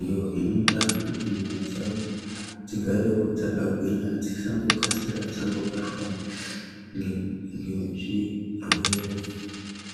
iyo inoita kuti nyama dzawo dzigarewo dzakagwinya dzisango kasira dzangobatwa ngezvirwere.